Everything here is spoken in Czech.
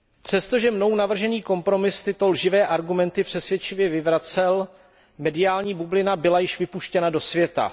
Přesto, že mnou navržený kompromis tyto lživé argumenty přesvědčivě vyvracel, mediální bublina byla již vypuštěna do světa.